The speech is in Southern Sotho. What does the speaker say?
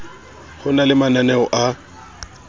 ho na le mananeo a